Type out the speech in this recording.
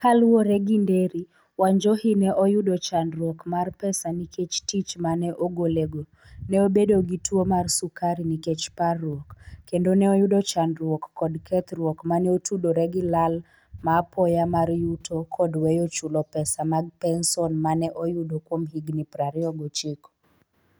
Kaluwore gi Nderi, Wanjohi ne oyudo chandruok mar pesa nikech tich ma ne ogolego, ne obedo gi tuwo mar sukari nikech parruok, kendo ne oyudo chandruok kod kethruok ma ne otudore gi lal ma apoya mar yuto kod weyo chulo pesa mag penson ma ne oyudo kuom higini 29.